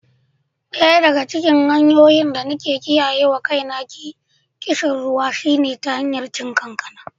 Daya daga cikin hanyoyin da nake kiyayewa kaina kishin ruwa shine ta hanyar cin kankana.